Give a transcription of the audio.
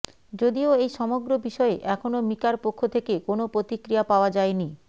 যদিও এই সমগ্র বিষয়ে এখনও মিকার পক্ষ থেকে কোনও প্রতিক্রিয়া পাওয়া যায়নি